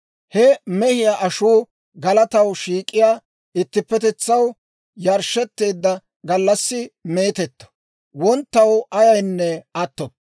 He mehiyaa ashuu galataw shiik'iyaa ittipetetsaw yarshshetteedda gallassi meetetto; wonttaw ayaynne attoppo.